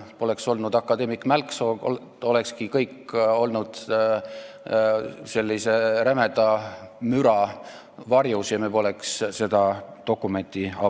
Kui poleks olnud akadeemik Mälksood, siis olekski kõik sellise rämeda müra varjus toimunud ja me poleks seda dokumenti Riigikogus